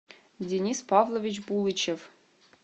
денис павлович булычев